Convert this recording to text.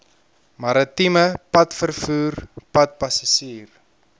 maritieme padvervoer padpassasier